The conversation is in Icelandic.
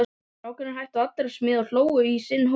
Strákarnir hættu allir að smíða og hlógu í sinn hóp.